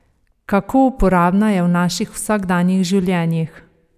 Kako uporabna je v naših vsakdanjih življenjih?